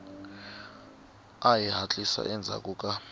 hi ku hatlisa endzhaku ka